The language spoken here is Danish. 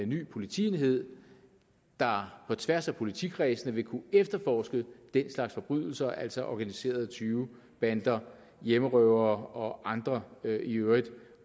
ny politienhed der på tværs af politikredsene vil kunne efterforske den slags forbrydelser altså organiserede tyvebander hjemmerøvere og andre øvrigt